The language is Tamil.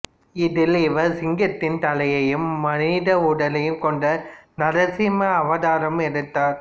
இதில் இவர் சிங்கத்தின் தலையையும் மனித உடலையும் கொண்ட நரசிம்ம அவதாரம் எடுத்தார்